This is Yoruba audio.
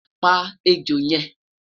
pa ẹjọ yen